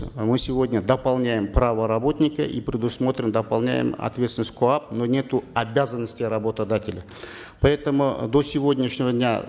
мы сегодня дополняем право работника и предусмотрим дополняем ответственность коап но нету обязанности работодателя поэтому э до сегодняшнего дня